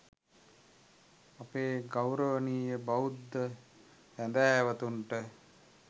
අපේ ගෞරවනීය බෞද්ධ සැදැහැවතුන්ට